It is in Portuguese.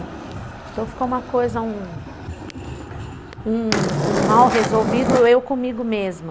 Então ficou uma coisa, um um um mal resolvido, eu comigo mesma.